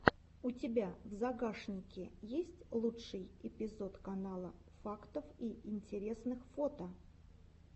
у тебя в загашнике есть лучший эпизод канала фактов и интересных фото